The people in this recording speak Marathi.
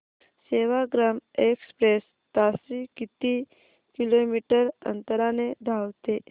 सेवाग्राम एक्सप्रेस ताशी किती किलोमीटर अंतराने धावते